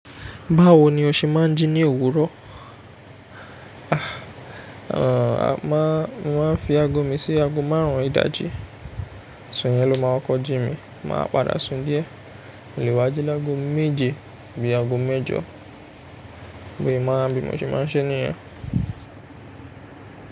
Báwo ni o ṣe máa ń ji ní òwúrọ̀? A, mo máa ń fi ago mi sí ago márùn-ún ìdájí, so'nyẹ̀ ló máa kọ́ jí mi. Màá padà sùn díẹ̀, mo lè wá jí lọ́go méje abí ago mẹ́jọ, bẹ́ẹ̀ máa ń bí mo ṣe máa ń ṣe níyẹn.